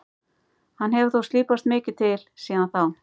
Hann hefur þó slípast mikið til síðan þá.